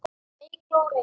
Eygló og Reynir.